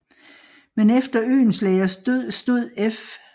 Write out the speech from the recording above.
Men efter Oehlenschlägers død stod F